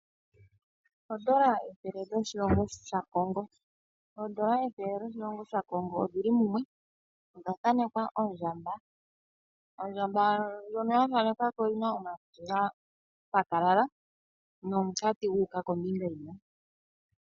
Ondola ethele lyoshilongo shaKongo. Oondola ethele dho shilongo sha Kongo odhili mumwe. Odha thanekwa ondjamba. Ondjamba ndjono ya thanekwa ko oyin a omakutsi ga pakalala nomukati gu uka kombinga yimwe.